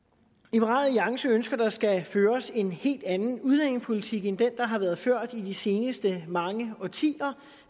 liberal alliance ønsker at der skal føres en helt anden udlændingepolitik end den der har været ført i de seneste mange årtier